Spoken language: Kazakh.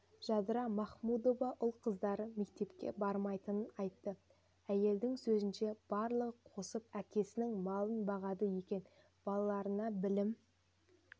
жадыра махмудова ұл-қыздары мектепке бармайтынын айтты әйелдің сөзінше барлығы қосылып әкесінің малын бағады екен балаларына білім